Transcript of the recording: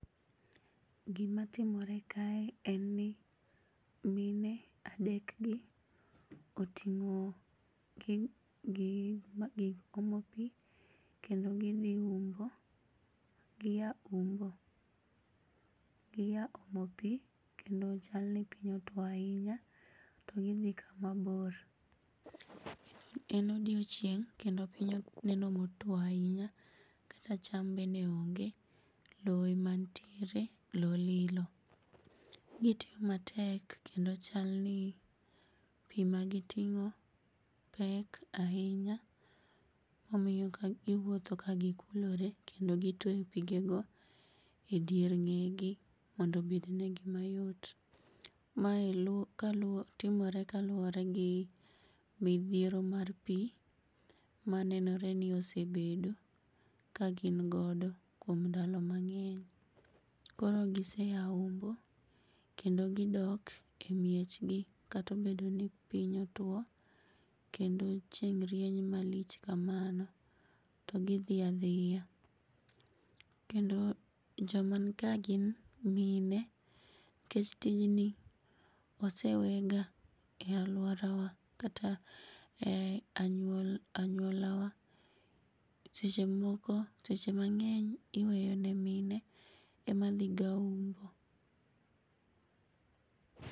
Gimatimore kae en ni mine adekgi oting'o gig omo pii kendo gidhi umbo. Giya umbo, giya omo pii kendo chalni piny otuo ainya to gidhi kama bor. En odiochieng' kendo piny neno motuo ainya kata cham bende onge, loo ema ntiere, loo lilo. Gitiyo matek kendo chalni pii magiting'o pek ainya omiyo giwuotho ka gikulore kendo gitueyo pigego edier ng'egi mondo obednegi mayot. Mae timore ka luore gi midhiero mar pii manenore ni osebedo ka gin godo kuom ndalo mang'eny. Koro giseya umbo kendo gidok e miechgi katobedoni piny otuo kendo chieng' rieny malich kamano to gidhia dhia. Kendo jomanka gin mine kech tijni osewega e aluorawa kata e anyuolawa ,sechemoko, seche mang'eny iweyone mine emadhiga umbo.